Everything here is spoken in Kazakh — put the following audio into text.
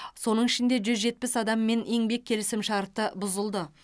соның ішінде жүз жетпіс адаммен еңбек келісімшарты бұзылды